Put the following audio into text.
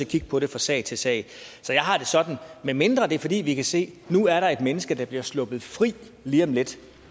kigge på det fra sag til sag så jeg har det sådan at medmindre det er fordi vi kan se at nu er der et menneske der bliver sluppet fri lige om lidt